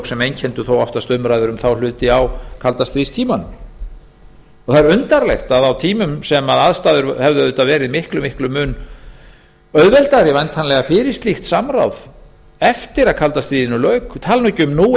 sem einkenndu þó oftast umræður um þá hluti á kaldastríðstímanum það er undarlegt að á tímum þar sem aðstæður hefðu væntanlega verið miklum mun auðveldari fyrir slíkt samráð eftir að kalda stríðinu lauk ég tala nú ekki um nú